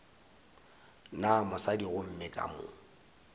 na mosadi gomme ka mo